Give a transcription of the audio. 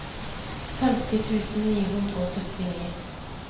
femti tusen ni hundre og syttini